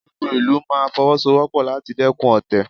Gbogbo ìlú máa Fọwọ́sowọ́pọ̀ láti dẹ́kun ọ̀tẹ̀